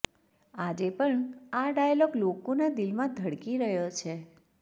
આજે પણ આ ડાયલોગ લોકોના દિલમાં ધડકી રહ્યો છે